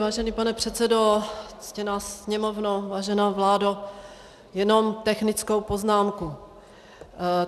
Vážený pane předsedo, ctěná Sněmovno, vážená vládo, jenom technickou poznámku.